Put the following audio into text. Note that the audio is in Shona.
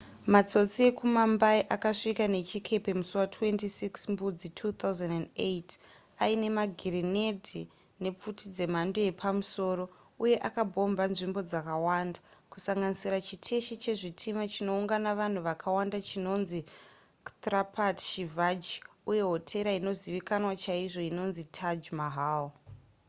matsotsi ekumumbai akasvika nechikepe musi wa26 mbudzi 2008 aine magirinedhi nepfuti dzemhando yepamusoro uye akabhomba nzvimbo dzakawanda kusanganisira chiteshi chezvitima chinoungana vanhu vakawanda chinonzi chhtrapati shivaji uye hotera inozivikanwa chaizvo inonzi taj mahal